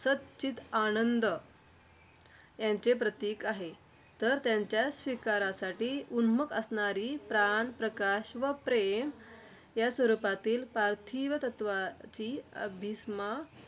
सत्-चित्-आनंद यांचे प्रतीक आहे. तर त्यांच्या स्वीकारासाठी उन्मुख असणारी प्राण, प्रकाश व प्रेम या स्वरूपातील पार्थिव तत्त्वाची अभीप्सा,